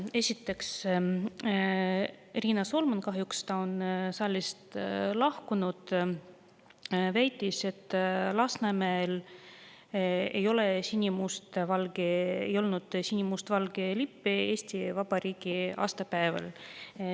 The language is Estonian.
Esiteks, Riina Solman – kahjuks on ta saalist lahkunud – väitis, et Lasnamäel ei olnud Eesti Vabariigi aastapäeval sinimustvalgeid lippe.